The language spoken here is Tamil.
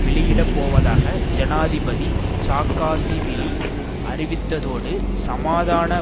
வெளியிடப்போவதாக ஜனாதிபதி சாக்காசிவிலி அறிவித்ததோடு சமாதான